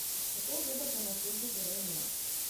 Kako gledate na zgodbo Gorenja?